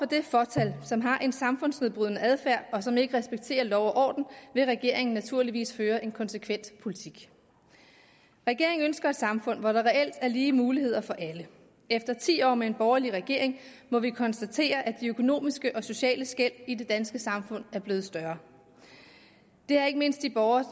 det fåtal som har en samfundsnedbrydende adfærd og som ikke respekterer lov og orden vil regeringen naturligvis føre en konsekvent politik regeringen ønsker et samfund hvor der reelt er lige muligheder for alle efter ti år med en borgerlig regering må vi konstatere at de økonomiske og sociale skel i det danske samfund er blevet større det har ikke mindst de borgere